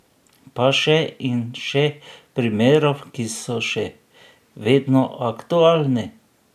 Pa še in še primerov, ki so še vedno aktualni.